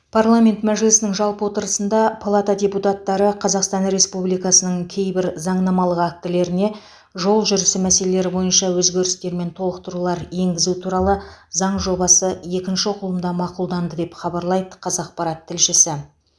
парамент мәжілісінің жалпы отырысында палата депутаттары қазақстан республикасының кейбір заңнамалық актілеріне жол жүрісі мәселелері бойынша өзгерістер мен толықтырулар енгізу туралы заң жобасы екінші оқылымда мақұлданды деп хабарлайды қазақпарат тілшісі